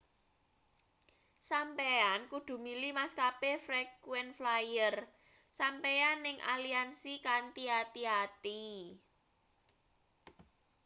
sampeyan kudu milih maskape frequent flyer sampeyan ing aliansi kanthi ati-ati